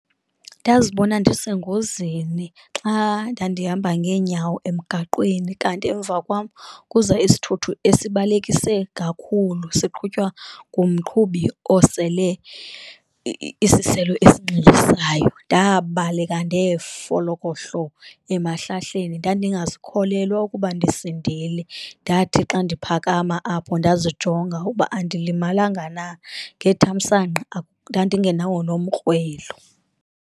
Ndazibona ndisengozini xa ndandihamba ngeenyawo emgaqweni, kanti emva kwam kuza isithuthuthi esibalekise kakhulu siqhutywa ngumqhubi osele isiselo esinxilisayo. Ndabaleka ndefolokohlo emahlahleni, ndandingazikholelwa ukuba ndisindile, ndathi xa ndiphakama apho ndazijonga ukuba andilimalanga na ngethamsanqa ndandingenawo nomkrwelo.